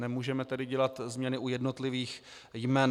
Nemůžeme tedy dělat změny u jednotlivých jmen.